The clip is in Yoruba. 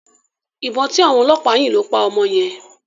Ìbọn tí àwọn ọlọ́pàá yìn ló máa pa ọmọ yẹn.